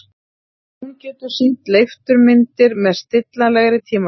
Hún getur sýnt leifturmyndir með stillanlegri tímalengd.